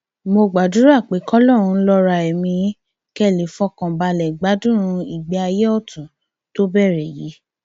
mo gbàdúrà pé kọlọrun lọra ẹmí yín kẹ ẹ lè fọkàn balẹ gbádùn ìgbé ayé ọtún tó bẹrẹ yìí